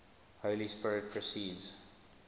holy spirit proceeds